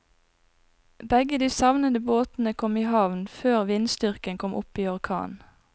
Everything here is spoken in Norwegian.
Begge de savnede båtene kom i havn før vindstyrken kom opp i orkan.